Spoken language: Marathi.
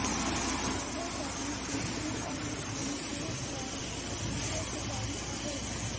चेहऱ्यासाठी टी ट्री ऑइल आणि फेस वॉश अतिशय प्रभावी आहे